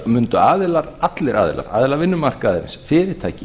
mundu allir aðilar aðilar vinnumarkaðarins fyrirtæki